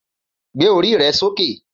Gbé orí rẹ sókè.